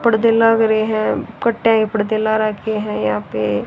पर्दे लग रहे हैं पर्दे ला रखे है यहां पे--